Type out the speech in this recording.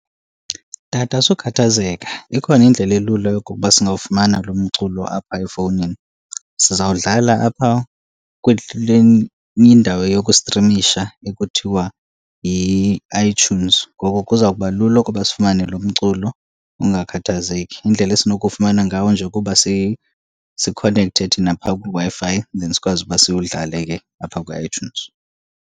Tata, sukhathazeka ikhona indlela elula yokokuba singawufumana lo mculo apha efowunini. Sizawudlala apha kule enye indawo yokustrimisha ekuthiwa yi-iTunes ngoko kuzawuba lula ukuba sifumane lo mculo, ungakhathazeki. Indlela esinokuwufumana ngawo nje kuba sikhonekthe thina phaa kwiWi-Fi then sikwazi uba siwudlale ke apha kwi-iTunes.